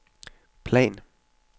plan